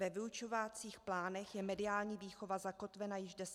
Ve vyučovacích plánech je mediální výchova zakotvena již deset let.